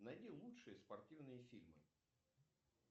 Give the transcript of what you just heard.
найди лучшие спортивные фильмы